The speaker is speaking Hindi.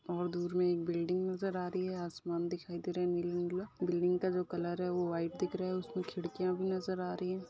और दूर में एक बिल्डिंग नज़र आ रही है। आसमान दिखाई दे रहा है नीला-नीला। बिल्डिंग का जो कलर है वो व्हाइट दिख रहा है उसमें खिड़कियाँ भी नज़र आ रही हैं।